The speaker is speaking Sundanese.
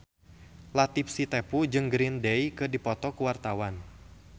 Latief Sitepu jeung Green Day keur dipoto ku wartawan